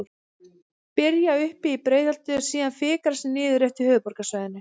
Byrja uppi í Breiðholti og síðan fikra sig niður eftir höfuðborgarsvæðinu.